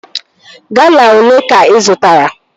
Gala olee ka ị zụtara?